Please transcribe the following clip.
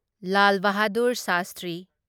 Lal Bahadur Shastri